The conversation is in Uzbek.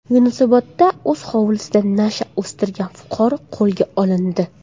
Yunusobodda o‘z hovlisida nasha o‘stirgan fuqaro qo‘lga olindi.